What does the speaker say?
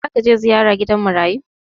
Za ka je ziyara gidan marayu?